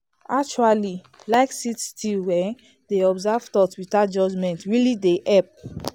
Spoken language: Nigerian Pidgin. actually like sit still um dey observe thoughts without judgment really dey help.